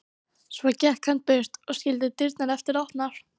Svo gekk hann burt og skildi dyrnar eftir opnar.